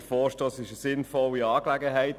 Der Vorstoss ist eine sinnvolle Angelegenheit.